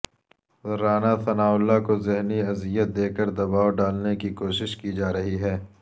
رانا ثناءاللہ کو ذہنی اذیت دے کر دباو ڈالنے کی کوشش کی جارہی ہے